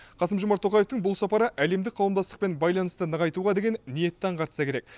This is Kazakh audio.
қасым жомарт тоқаевтың бұл сапары әлемдік қауымдастықпен байланысты нығайтуға деген ниетті аңғартса керек